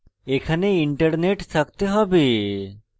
এখানে internet থাকতে have